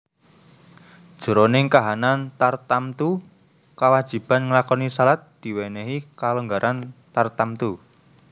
Jroning kahanan tartamtu kawajiban nglakoni shalat diwènèhi kalonggaran tartamtu